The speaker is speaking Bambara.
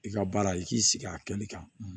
I ka baara i k'i sigi a kɛli kan